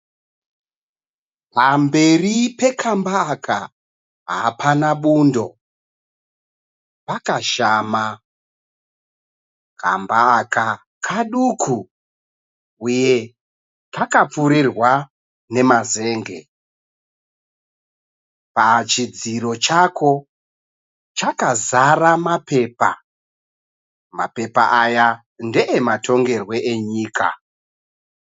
Pamberi pekamba aka hapana bundo pakashama, kamba aka kaduku uye kakapfurirwa nemazenge pachidziro chako chakazara mapepa, mapepa aya ndeematongerwo enyika.